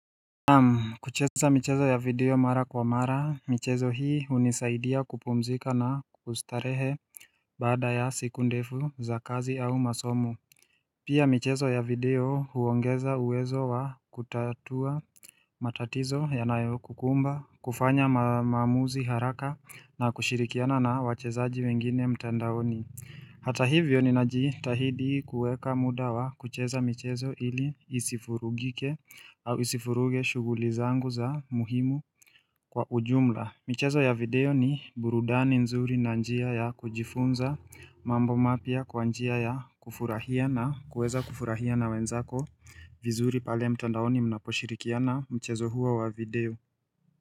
Naam, kucheza michezo ya video mara kwa mara, michezo hii hunisaidia kupumzika na kustarehe baada ya siku ndefu za kazi au masomo. Pia michezo ya video huongeza uwezo wa kutatua matatizo yanayo kukumba, kufanya maamuzi haraka na kushirikiana na wachezaji wengine mtandaoni Hata hivyo ninajitahidi kueka muda wa kucheza michezo ili isifurugike au isifuruge shughuli zangu za muhimu kwa ujumla. Michezo ya video ni burudani nzuri na njia ya kujifunza mambo mapya kwa njia ya kufurahia na kuweza kufurahia na wenzako vizuri pale mtandaoni mnaposhirikiana mchezo huo wa video.